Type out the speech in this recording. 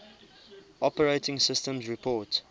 operating systems report